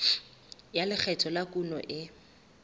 ya lekgetho la kuno e